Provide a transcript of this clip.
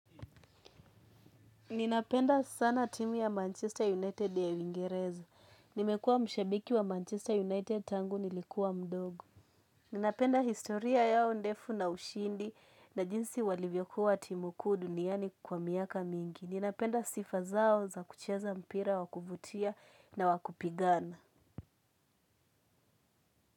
Ninapenda sana timu ya Manchester United ya uingereza. Nimekuwa mshabiki wa Manchester United tangu nilikuwa mdogo. Ninapenda historia yao ndefu na ushindi na jinsi walivyokuwa timu kuu duniani kwa miaka mingi. Ninapenda sifa zao za kucheza mpira, wa kuvutia na wa kupigana.